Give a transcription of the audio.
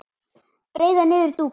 breiða niður dúka